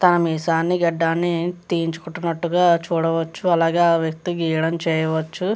తన మీసాన్ని గడ్డాన్ని తీయించు కున్నట్టుగా చూడవచ్చు. అలాగే ఆ వ్యక్తికి గీయడం చూడవచ్చు.